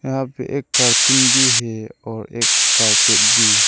यहां पे एक कार्टून भी है और एक कारपेट भी।